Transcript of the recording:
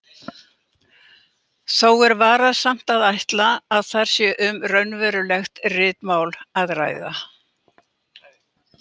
Þó er varasamt að ætla að þar sé um raunverulegt ritmál að ræða.